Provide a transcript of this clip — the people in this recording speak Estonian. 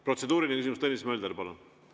Protseduuriline küsimus, Tõnis Mölder, palun!